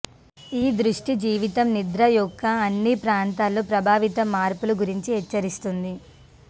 ఈ దృష్టి జీవితం నిద్ర యొక్క అన్ని ప్రాంతాల్లో ప్రభావితం మార్పులు గురించి హెచ్చరిస్తుంది